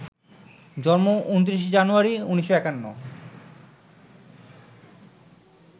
জন্ম ২৯ জানুয়ারি, ১৯৫১